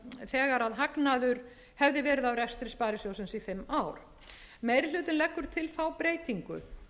arð þegar hagnaður hefði verið á rekstri sparisjóðsins í fimm ár meiri hlutinn leggur til þá breytingu